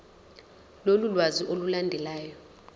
lolu lwazi olulandelayo